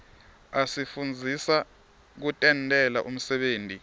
asifundzisa kutentela umsebenti